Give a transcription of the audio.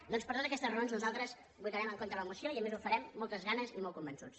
doncs per totes aquestes raons nosaltres votarem en contra de la moció i a més ho farem amb moltes ganes i molt convençuts